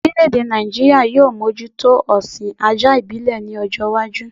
Orílẹ̀-èdè Nàìjíríà yóò mójútó ọ̀sìn ajá ìbílẹ̀ ní ọjọ́-iwájú.